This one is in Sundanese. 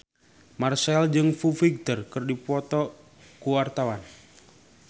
Marchell jeung Foo Fighter keur dipoto ku wartawan